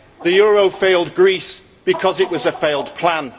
The euro failed Greece because it was a failed plan.